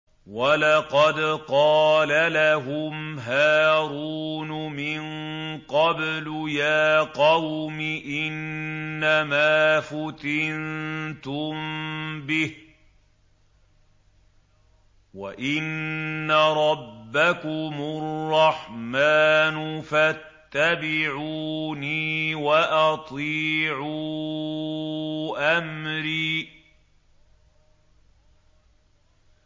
وَلَقَدْ قَالَ لَهُمْ هَارُونُ مِن قَبْلُ يَا قَوْمِ إِنَّمَا فُتِنتُم بِهِ ۖ وَإِنَّ رَبَّكُمُ الرَّحْمَٰنُ فَاتَّبِعُونِي وَأَطِيعُوا أَمْرِي